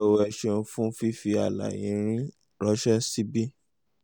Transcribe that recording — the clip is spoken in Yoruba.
o ẹ ṣeun fún fífi àlàyé yín ránṣẹ́ síbí